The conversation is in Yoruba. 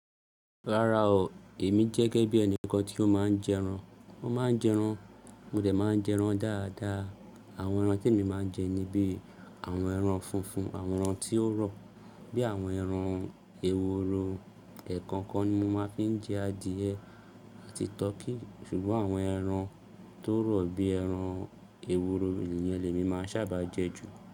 Rárá o, èmi jẹ́ gẹ́gẹ́ bí ẹni kan tí ó máa ń jẹ ẹran. Mo máa ń jẹ ẹran, mo dè máa jẹ ẹran dáadáa. Àwọn ẹran tí èmi máa ń jẹ ni bí àwọn ẹran funfun, àwọn ẹran tí ó rọ̀, bí àwọn ẹran èwòro. Ẹ̀ẹ̀kan kan ni mo máa ń fi jẹ adìẹ àti turkey. Ṣùgbọ́n àwọn ẹran tó rọ̀ bí ẹran èwòro iyen ni emi máa ń sábà jẹ jù.